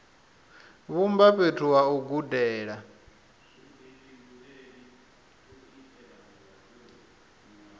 vhumba fhethu ha u gudela